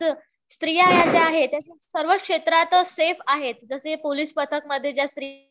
स्त्रिया ह्या ज्या आहेत सर्वच क्षेत्रात सेफ आहेत. जसे पोलीस पथक मध्ये